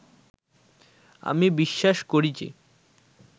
আমি বিশ্বাস করি যে